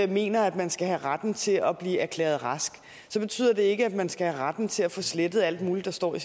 mener at man skal have retten til at blive erklæret rask så betyder det ikke at man skal have retten til at få slettet alt muligt der står i